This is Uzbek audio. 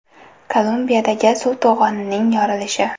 Kolumbiyadagi suv to‘g‘onining yorilishi.